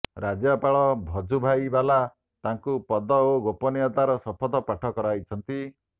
ରାଜ୍ୟପାଳ ଭଜୁଭାଇ ବାଲା ତାଙ୍କୁ ପଦ ଓ ଗୋପନୀୟତାର ଶପଥ ପାଠ କରାଇଛନ୍ତି